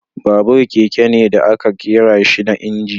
Babur, keke ne da aka ƙera shi da inji.